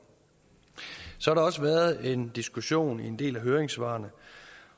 så har der også været en diskussion i en del af høringssvarene